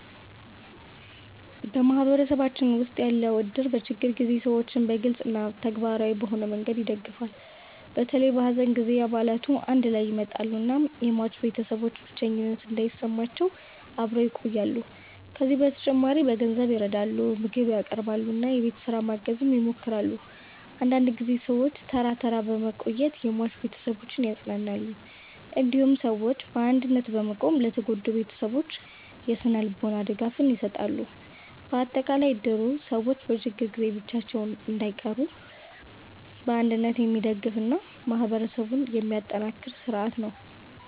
በማህበረሰባችን ውስጥ ያለው እድር በችግር ጊዜ ሰዎችን በግልጽ እና ተግባራዊ በሆነ መንገድ ይደግፋል። በተለይ በሐዘን ጊዜ አባላቱ አንድ ላይ ይመጣሉ እናም የሟች ቤተሰቦች ብቸኝነት እንዳይሰማቸው አብረው ይቆያሉ። ከዚህ በተጨማሪ በገንዘብ ይረዳሉ፣ ምግብ ያቀርባሉ እና የቤት ስራ ማገዝ ይሞክራሉ። አንዳንድ ጊዜ ሰዎች ተራ ተራ በመቆየት የሟች ቤተሰቦችን ያጽናናሉ። እንዲሁም ሰዎች በአንድነት በመቆም ለተጎዱ ቤተሰቦች የስነ-ልቦና ድጋፍ ይሰጣሉ። በአጠቃላይ እድሩ ሰዎች በችግር ጊዜ ብቻቸውን እንዳይቀሩ በአንድነት የሚደግፍ እና ማህበረሰብን የሚያጠናክር ስርዓት ነው።